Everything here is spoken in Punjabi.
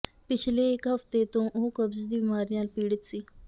ਪਿਛਲੇ ਇਕ ਹਫ਼ਤੇ ਤੋਂ ਉਹ ਕਬਜ਼ ਦੀ ਬਿਮਾਰੀ ਨਾਲ ਪੀੜਤ ਸੀ